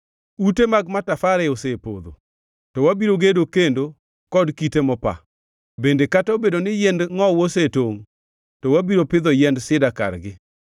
“Ute mag matafare osepodho, to wabiro gedo kendo kod kite mopa, bende kata obedo ni yiend ngʼowu osetongʼ to wabiro pidho yiend sida kargi.”